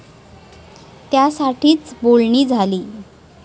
त्यासाठीच बोलणी झाली.